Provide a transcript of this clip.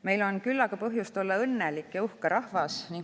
Meil on küllaga põhjust olla õnnelik ja uhke rahvas.